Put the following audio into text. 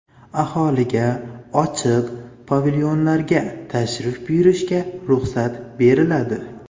Aholiga ochiq pavilyonlarga tashrif buyurishga ruxsat beriladi.